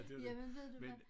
Jamen ved du hvad